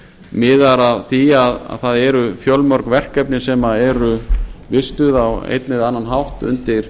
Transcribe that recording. miðar að því að það eru fjölmörg verkefni sem eru vistuð á einn eða annan hátt undir